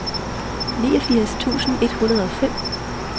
niogfirs tusind et hundrede og fem